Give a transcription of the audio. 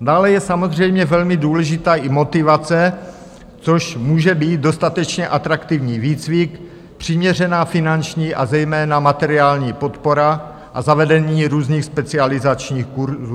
Dále je samozřejmě velmi důležitá i motivace, což může být dostatečně atraktivní výcvik, přiměřená finanční, a zejména materiální podpora a zavedení různých specializačních kurzů.